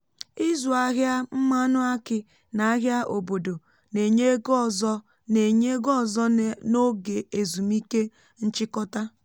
ịzụ ahịa um mmanụ aki n’ahịa obodo na-enye ego ọzọ na-enye ego ọzọ n’oge ezumike nchikọta um